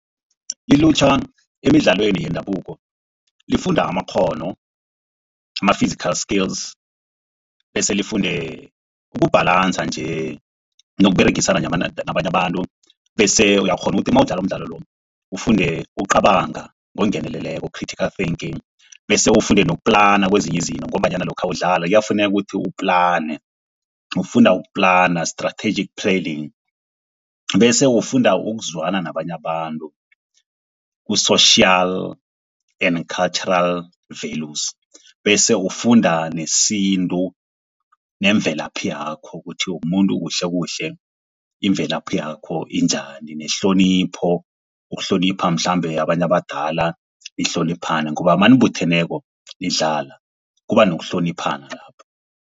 Ilutjha emidlalweni yendabuko lifunda amakghono ama-physical skills, bese lifunde ukubhalansa nje nokuberegisana nabanye abantu. Bese uyakghona ukuthi nawudlala umdlalo lo ufunde ukucabanga ngokungeneleleko critical thinking, bese ufunde nokuplana kwezinye izinto ngombanyana lokha udlala kuyafuneka ukuthi uplane. Ufunda ukuplana strategic planning, bese ufunda ukuzwana nabanye abantu ku-social and cultural values. Bese ufunda nesintu nemvelaphi yakho ukuthi umumuntu kuhle kuhle imvelaphi yakho injani, nehlonipho. Ukuhlonipha mhlambe abantu abadala nihloniphane ngoba nanibutheneko nidlala kuba nokuhloniphana lapho.